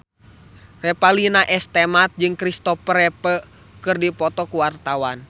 Revalina S. Temat jeung Christopher Reeve keur dipoto ku wartawan